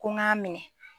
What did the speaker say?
Ko n k'a minɛ